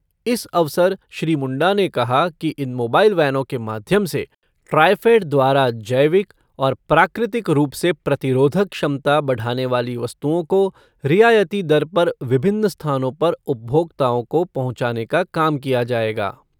इस अवसर श्री मुंडा ने कहा कि इन मोबाइल वैनों के माध्यम से ट्रायफ़ेड द्वारा जैविक और प्राकृतिक रूप से प्रतिरोधक क्षमता बढ़ाने वाली वस्तुओं को रियायती दर पर विभिन्न स्थानों पर उपभोक्ताओं को पहुंचाने का काम किया जाएगा।